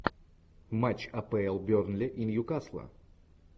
матч апл бернли и ньюкасла